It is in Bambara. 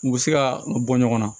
U bɛ se ka bɔ ɲɔgɔn na